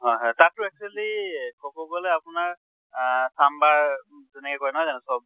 হয় হয়। তাত টো actually কʼব গʼলে আপোনাৰ আহ চাম্বাৰ তেনেকে কয় নহয় জানো চব